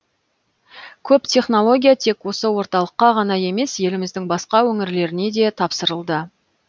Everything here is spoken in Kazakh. көп технология тек осы орталыққа ғана емес еліміздің басқа өңірлеріне де тапсырылды